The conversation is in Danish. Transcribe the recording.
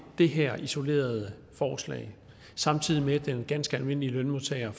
det her isolerede forslag samtidig med at den ganske almindelige lønmodtager